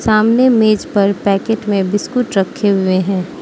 सामने मेज पर पैकेट में बिस्कुट रखे हुए हैं।